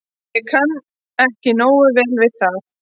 Ég kann ekki nógu vel við það.